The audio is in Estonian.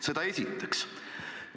Seda esiteks.